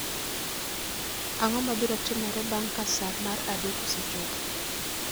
Ang'o mabiro timore bang ' ka sa mar adek osechopo?